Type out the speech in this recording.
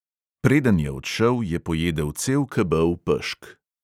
Preden je odšel, je pojedel cel kebel pešk.